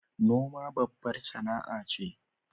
Noma babbar sAna a ce